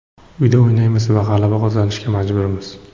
Uyda o‘ynaymiz va g‘alaba qozonishga majburmiz.